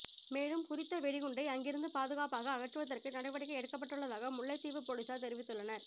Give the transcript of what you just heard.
மேலும் குறித்த வெடிகுண்டை அங்கிருந்து பாதுகாப்பாக அகற்றுவதற்கு நடவடிக்கை எடுக்கப்பட்டுள்ளதாக முல்லைத்தீவு பொலிஸார் தெரிவித்துள்ளனர்